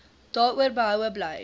daaroor behoue bly